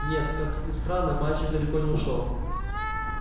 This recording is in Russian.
нет как ни странно мальчик далеко не ушёл